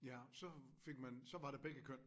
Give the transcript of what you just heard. Ja så fik man så var der begge køn